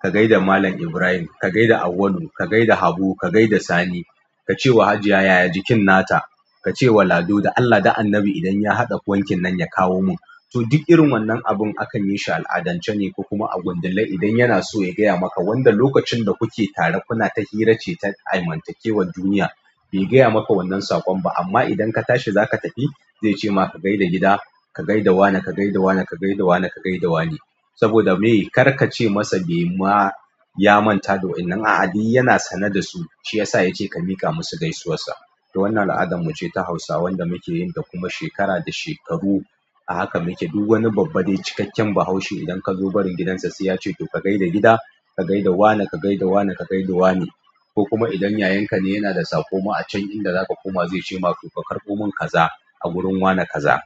ka gai da Malam Ibrahim, ka gai da Awwalu, ka gai da Habu, ka gai da sani. Ka ce wa Hajiya yaya jikin nata. Ka ce wa Lado da Allah da Annabi idan ya haɗa wankin nan ya kawo mun. To duk irin wannan abin akan yi shi al'adance ne, kuma a gundillar idan yana so ya gaya maka wanda lokacin da kuke tare kuna ta hira ce ta aimantakewar duniya. Bai gaya maka wannan saƙon ba amma idan ka tashi za ka tafi zai ce ma ka gai da gida, ka gai da wane, ka gai da wane, ka gai da wane, ka gai da wane. Saboda me? Kar ka ce masa be ma ya manta da wannan a'a duk yana sane da su. Shi ya sa ya ce ka miƙa musu gaisuwar sa. To wannan al'adan mu ce ta Hausawa wanda muke yin ta kuma shekara da shekaru. A haka muke duk wani babba da cikakken bahaushe. Idan ka zo barin gidansa sai ya ce to ka gai da gida, ka gai da wane, ka gai da wane, ka gai da wane. Ko kuma idan yayanka ne yana da saƙo ma a can inda zaka koma zai ce ma to ka karɓo mun kaza a wurin wane kaza.